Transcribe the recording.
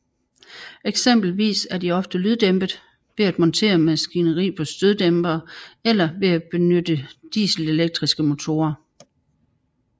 Eksempelvis er de ofte lyddæmpet ved at montere maskineri på støddæmpere eller ved at benytte dieselelektriske motorer